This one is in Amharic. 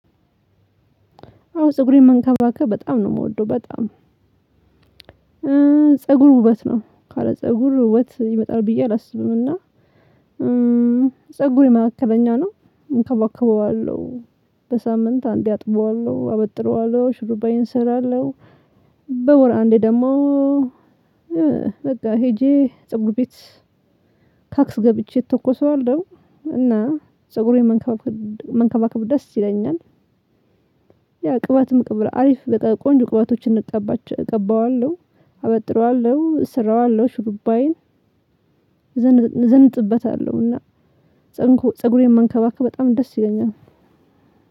አዎ ፀጉሬን መንከባከብ በጣም ነው የምወደው በጣም። ፀጉር ውበት ነው ካለ ፀጉር ውበት ይመጣል ብዬ አላስብም። እና ፀጉሬ መካከለኛ ነው እንከባከበዋለሁ በሳምንት አንዴ አጥበዋለሁ አበጥረዋለሁ ሽሩባዬን እሰራለሁ። በወር አንዴ ደግሞ። በቃ ሄጄ ፅጉር ቤት ካክስ ገብቼ እተኮሰዋለሁ። እና ፀጉሬን መንከባከብ ደስ ይለኛል። ቅባት መቅበር አሪፍ በቃ ቆንጆ ቅባቶችን እንቀባቸው እቀባዋለሁ። አበጥረዋለሁ እሰራዋለሁ ሹሩባይን ዘንጥበታለሁና። ፀጉሬን መንከባከብ በጣም ደስ ይለኛል።